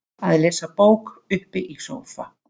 Að lesa bók uppi í sófa.